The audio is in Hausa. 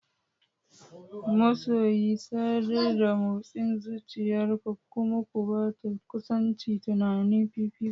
Masoyi, sadar da motsin zuciyar ku kuma ku ba kusancin tunani fifiko.